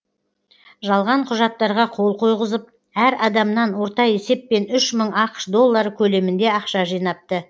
жалған құжаттарға қол қойғызып әр адамнан орта есеппен үш мың ақш доллары көлемінде ақша жинапты